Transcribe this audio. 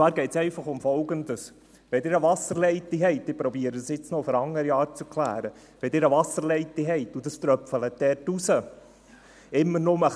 Es geht einfach um Folgendes, und ich versuche, es auf eine andere Art zu erklären: Wenn Sie eine Wasserleitung haben und es dort immer nur ein wenig hinauströpfelt: